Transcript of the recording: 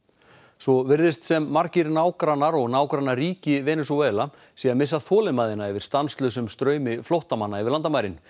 svo virðist sem margir nágrannar og nágrannaríki Venesúela séu að missa þolinmæðina yfir stanslausum straumi flóttamanna yfir landamærin